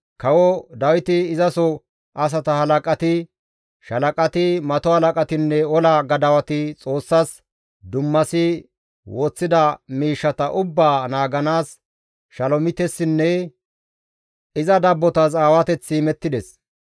Kawo Dawiti, izaso asata halaqati, shaalaqati, mato halaqatinne ola gadawati Xoossas dummasi woththida miishshata ubbaa naaganaas Shalomitessinne iza dabbotas aawateththi imettides.